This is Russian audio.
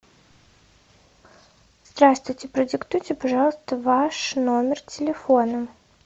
здравствуйте продиктуйте пожалуйста ваш номер телефона